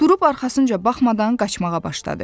Durub arxasınca baxmadan qaçmağa başladı.